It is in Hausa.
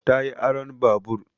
Ta yi aron babur